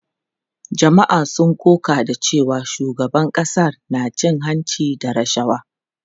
Jama’a sun koka da cewa shugaban ƙasar na cin hanci da rashawa.